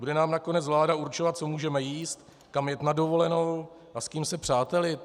Bude nám nakonec vláda určovat, co můžeme jíst, kam jet na dovolenou a s kým se přátelit?